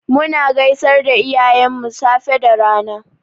Muna gaisar da iyayenmu safe da rana.